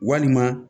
Walima